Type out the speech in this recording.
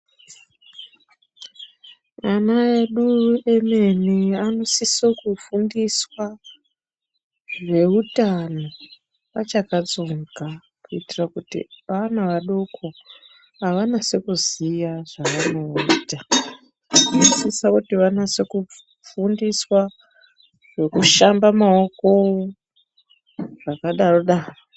Ana edu emene anosisa kufundiswa zveutano achakatsonga kuitira kuti ana adoko avanasi kuziya zvaanoita vanosisa kuti vanase kufundiswa zvekushambe maoko zvakadarodaro.